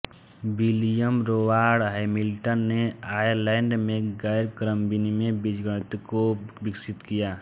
William Rowan Hamilton ने Ireland में गैर क्रमविनिमय बीजगणित को विकसित किया